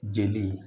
Jeli